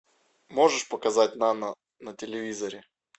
можешь показать нано на телевизоре